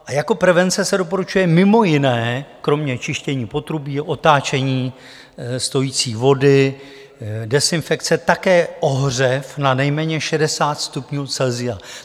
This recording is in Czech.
A jako prevence se doporučuje, mimo jiné, kromě čištění potrubí, otáčení stojící vody, dezinfekce také ohřev na nejméně 60 stupňů Celsia.